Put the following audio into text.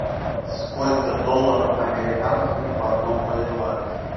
сколько долларов американских в одном боливаре